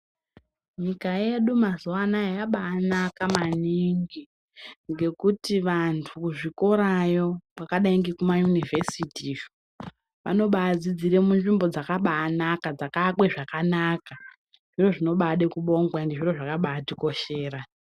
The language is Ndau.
Nyika yedu mazuwa anaya yabaanaka maningi ngekuti vantu muzvikorayo kwakadai ngekuma yunivhesiti vanobadzidzire munzvimbo dzakabaanaka , dzakaakwe zvakanaka ndozvinobade kubongwa ende zviro zvakabaatikoshera